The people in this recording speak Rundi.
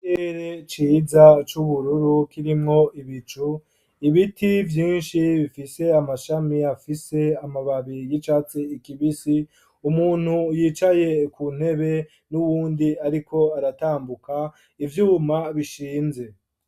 Ere ciza c'ubururu kirimwo ibicu ibiti vyinshi bifise amashami afise amababi yicatse ikibisi umuntu yicaye ku ntebe n'uwundi, ariko aratambuka ivyuma bishinze.